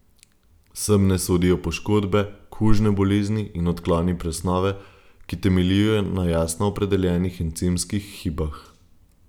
Sem ne sodijo poškodbe, kužne bolezni in odkloni presnove, ki temeljijo na jasno opredeljenih encimskih hibah.